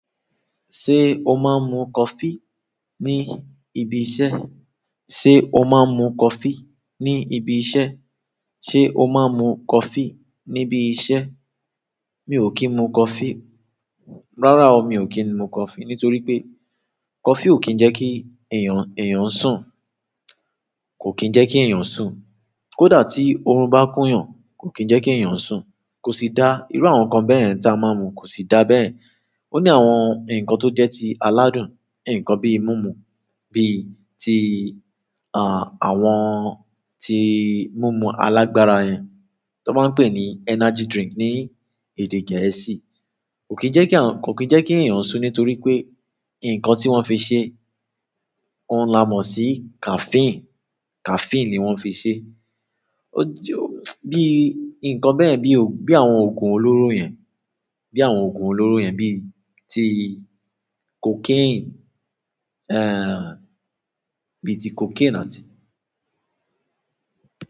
Ṣé o máa ń mu coffee ní ibi iṣẹ́? Ṣé o máa ń mu coffee ní ibi iṣẹ́? Ṣé o máa ń mu coffee níbi iṣẹ́? Mi ò kí ń mu coffee. Rárá o, mi ò kí ń mu coffee nítorí pé coffee ò kí ń jẹ́ kí èèyàn, èèyàn sùn. Kò kí ń jẹ́ kí èèyàn sùn. Kódà tí oorun bá kún yàn, kò kí ń jẹ́ kí èèyàn sùn. Kò sì dá, irú àwọn nǹkan bẹ́yẹ̀n ta a máa ń mu kò sì dá bẹ́yẹ̀n. Ó ní àwọn nǹkan tó jẹ́ ti aládùn, nǹkan bíi mímu, bí i ti, àwọn ti mímu alágbára yẹn, tí wọ́n máa ń pè ní energy drink ní èdè Gẹ̀ẹ́sì. Kò kí ń jẹ́ kí àwọn, kò kí ń jẹ́ kí èèyàn sùn nítorí pé nǹkan tí wọ́n fi ṣe, ouń lamọ sí caffeine. Caffeine ni wọ́n fi ṣe. Ó jẹ́ bíi nǹkan bẹ́yẹ̀n bí i, bí àwọn òògùn olóró yẹn, bí àwọn òògùn olóró yẹn, bí i ti cocaine, bíi ti cocaine àti.